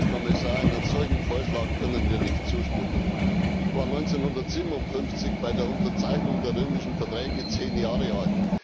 Herr Kommissar, einem solchen Vorschlag können wir nicht zustimmen. Ich war 1957 bei der Unterzeichnung der Römischen Verträge zehn Jahre alt.